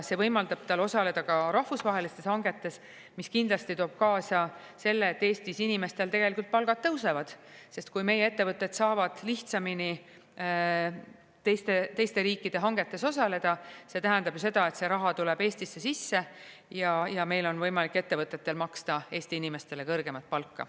See võimaldab tal osaleda ka rahvusvahelistes hangetes, mis kindlasti toob kaasa selle, et Eestis inimestel tegelikult palgad tõusevad, sest kui meie ettevõtted saavad lihtsamini teiste riikide hangetes osaleda, see tähendab ju seda, et see raha tuleb Eestisse sisse ja meil on võimalik ettevõtetel maksta Eesti inimestele kõrgemat palka.